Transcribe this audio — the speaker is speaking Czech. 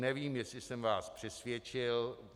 Nevím, jestli jsem vás přesvědčil.